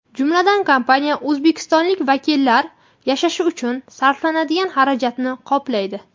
Jumladan, kompaniya O‘zbekistonlik vakillar yashashi uchun sarflanadigan xarajatni qoplaydi.